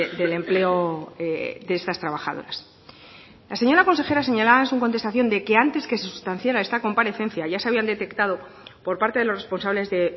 del empleo de esas trabajadoras la señora consejera señalaba en su contestación de que antes que se sustanciara esta comparecencia ya se habían detectado por parte de los responsables de